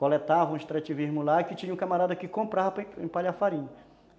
coletavam o extrativismo lá, e que tinha um camarada que comprava para empalhar farinha.